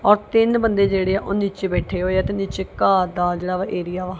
ਔਰ ਤਿੰਨ ਬੰਦੇ ਜਿਹੜੇ ਆ ਉਹ ਨੀਚੇ ਬੈਠੇ ਹੋਏ ਆ ਤੇ ਨੀਚੇ ਘਾਹ ਦਾ ਜਿਹੜਾ ਵਾ ਏਰੀਆ ਵਾ।